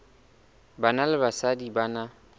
banna le basadi ba na